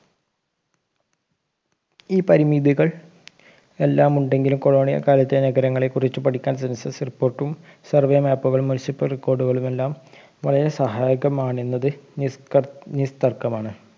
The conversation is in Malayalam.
ഈ പരിമിതികൾ എല്ലാം ഉണ്ടെങ്കിലും colonial കാലത്തെ നഗരങ്ങളെ കുറിച്ച് പഠിക്കാൻ census report ഉം survey map ഉകളും municipal record കളുമെല്ലാം വളരെ സഹായകമാണെന്നത് നിസ്ത്രപ് നിസ്തർക്കമാണ്